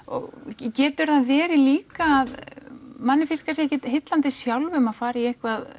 getur það verið líka að manni finnst kannski ekki heillandi sjálfum að fara í eitthvað